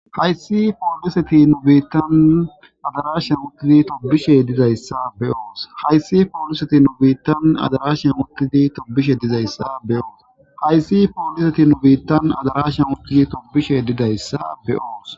Hayssi pooliseti nu biittan adarashan okizi tobishe dizayssa be oos hayssi pooliseti nu biittan adarashan okiti tobishe dizayssa beyoos hayssi pooliseti nu biittan adarashan ukizi tobishe didayssa be oos